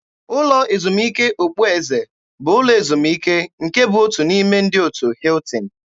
Ụlọ ezumike okpueze bụ ụlọ ezumike nke bụ otu n'ime ndị otu Hiltin.